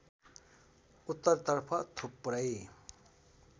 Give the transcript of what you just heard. उत्तरतर्फ थुप्रै